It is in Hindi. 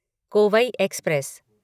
कोवई एक्सप्रेस